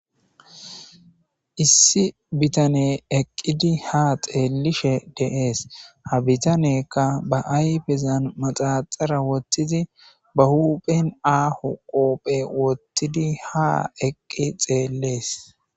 issi bitane eqqidi ha xeellishe deees ha bitanekka ba ayfezan maxaxara wottizi ba huphen aaho qoophe wottidi ha eqqi xeellees